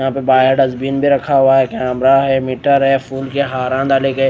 यहां पे bio dustbin भी रखा हुआ है। कैमरा है। मीटर है। फूल के हारा डाले गए--